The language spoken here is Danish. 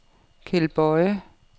Keld Boye